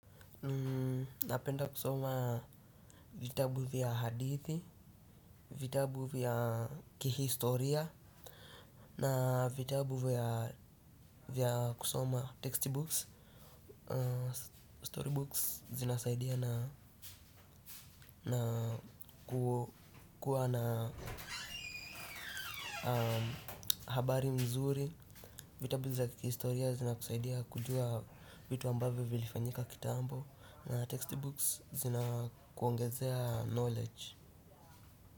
Napenda kusoma vitabu vya hadithi, vitabu vya kihistoria, na vitabu vya kusoma text books. Story books zinasaidia na na kukua na habari mzuri. Vitabu za kihistoria zinakusaidia kujua vitu ambavyo vilifanyika kitambo na text books zinakuongezea knowledge.